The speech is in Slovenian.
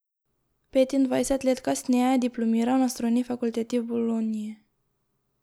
Petindvajset let kasneje je diplomiral na strojni fakulteti v Bologni.